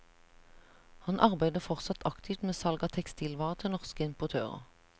Han arbeider fortsatt aktivt med salg av tekstilvarer til norske importører.